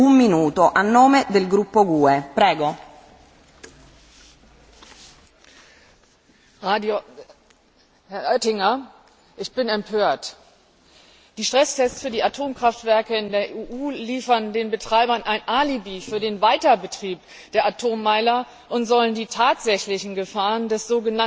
Frau Präsidentin! Herr Oettinger, ich bin empört. Die Stresstests für die Atomkraftwerke in der EU liefern den Betreibern ein Alibi für den Weiterbetrieb der Atommeiler und sollen die tatsächlichen Gefahren des sogenannten Restrisikos verschleiern,